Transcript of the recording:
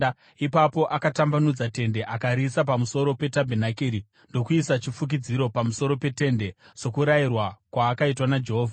Ipapo akatambanudza tende akariisa pamusoro petabhenakeri ndokuisa chifukidzo pamusoro petende, sokurayirwa kwaakaitwa naJehovha.